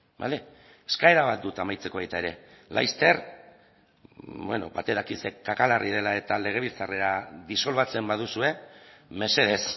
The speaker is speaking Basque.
bale eskaera bat dut amaitzeko baita ere laster bueno batek daki ze kaka larria dela eta legebiltzarrera disolbatzen baduzue mesedez